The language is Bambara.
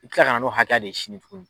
I bɛ kila ka na n'o hakɛ de ye sini tuguni